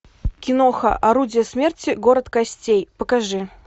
киноха орудие смерти город костей покажи